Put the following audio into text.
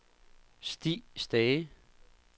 Stig Stage